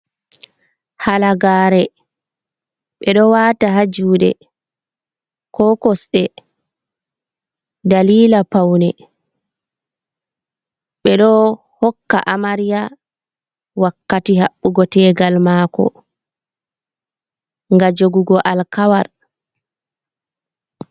Halagaare, ɓe ɗo waata haa juɗe, ko kosɗe, dalila paune. Ɓe ɗo hokka amarya wakkati haɓɓugo tegal maako nga jogugo alkawal.